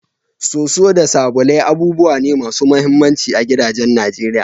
Soso da sabulai abubuwa ne masu muhimmanci a gidajen Najeriya.